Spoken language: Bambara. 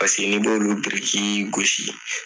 Paseke n'i b'olu biriki gosi